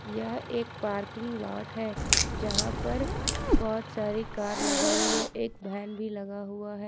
यह एक parking lot है जहां पर बहुत सारे कार लगी हुई है एक वैन भी लगा हुआ हैं।